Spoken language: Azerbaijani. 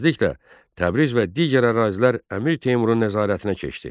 Tezliklə Təbriz və digər ərazilər Əmir Teymurun nəzarətinə keçdi.